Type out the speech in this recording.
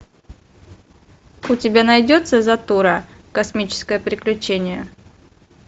у тебя найдется затура космическое приключение